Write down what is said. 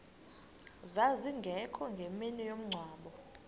zazingekho ngemini yomngcwabo